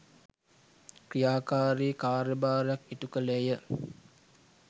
ක්‍රියාකාරී කාර්යභාරයක් ඉටු කළේය